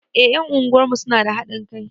Eh ƴan unguwarmu suna da haɗin kai